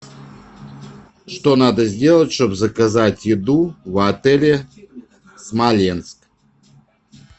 что надо сделать чтобы заказать еду в отеле смоленск